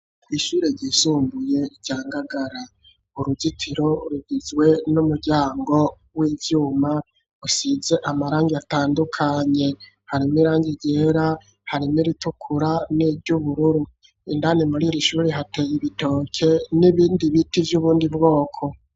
Ishure ryisumbuye, rya Ngagara, uruzitiro rugizwe, n'umuryango w'ivyuma, usize amarangi, atandukanye, harimwo irangi ryera, harimwo iritukura, n'iry'ubururu; indani muri iri shuri, hateye ibitoke, n'ibindi biti, vy'ubundi bwoko.